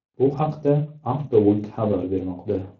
Bu haqda Autoweek xabar bermoqda.